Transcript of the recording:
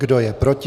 Kdo je proti?